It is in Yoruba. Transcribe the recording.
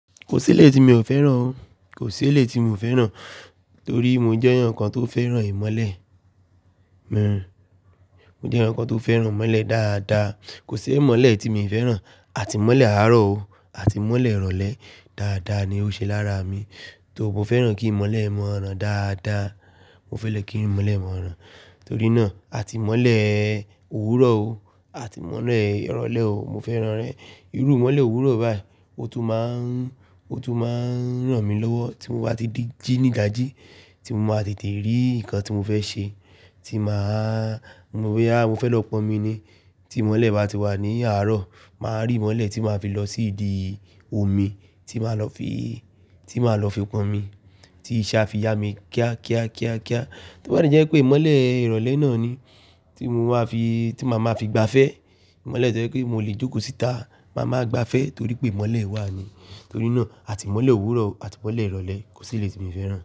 Kò sí iléyi tí mi ò fẹ́ràn o. Kò sí iléyi tí mi ò fẹ́ràn torí mo jẹ́ ǹkan tó fẹ́ràn ìmọ́lẹ̀ Mo jẹ́ ǹkan tó fẹ́ràn ìmọ́lẹ̀ dáadáa. Kò sí ìmọ́lẹ̀ tí mi fẹ́ràn. Àti ìmọ́lẹ̀ àárọ̀ o àti ìmọ́lẹ̀ ìrọ̀lẹ́. Dáadáa ni ó ṣe lára mi, tó mo fẹ́ràn kí ìmọ́lẹ̀ mọ́ran dáadáa. Mo fẹ́ràn kí ìmọ́lẹ̀ mọ́ran. Torí náà àti ìmọ́lẹ̀ òwúrọ̀ o àti ìmọ́lẹ̀ ìrọ̀lẹ́ o, mo fẹ́ràn rẹ̀. Irú ìmọ́lẹ̀ òwúrọ̀ báyìí, ó tún máa ń, ó tún máa ń ràn mí lọ́wọ́ tí mo bá ti di jí ní dàjí, tí mo máa tètè rí nǹkan tí mo fẹ́ ṣe, tí màá mọ̀ boya mo fẹ́ lọ pọn omi ni. Tí ìmọ́lẹ̀ bá ti wà ní àárọ̀, màá rí ìmọ́lẹ̀ tí màá fi lọ sí ìdi omi tí màá lọ fi, tí màá lọ fi pọn omi tí í ṣe àfiyà mí kíá, kíá, kíá, kíá. Toba de jẹ́ pé ìmọ́lẹ̀ ìrọ̀lẹ́ náà ni tí mo máa fi, tí màá ma fi gba fẹ́. Ìmọ́lẹ̀ to jẹ́ pé mo le jókòó síta, màá ma gba fẹ́ torí pé ìmọ́lẹ̀ wà ni. Torí náà àti ìmọ́lẹ̀ òwúrọ̀ àti ìmọ́lẹ̀ ìrọ̀lẹ́ kò sí ilé tí mi fẹ́ràn.